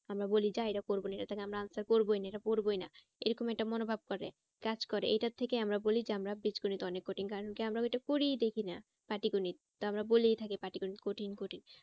আমরা বলি যা এটা করবো না এটা থেকে আমরা answer করবোই না এটা করবোই না এরকম একটা মনোভাব থাকে, কাজ করে এইটার থেকে আমরা বলি যে আমরা বীজগণিত অনেক কঠিন কারণ কি আমরা ওইটা করেই দেখি না পাটিগণিত তো আমরা বলেই থাকি পাটিগণিত কঠিন কঠিন